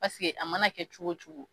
Paseke a mana kɛ cogo o cogo